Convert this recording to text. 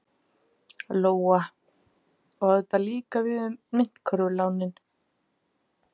Lóa: Og á þetta líka við um myntkörfulánin?